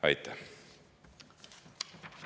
Aitäh!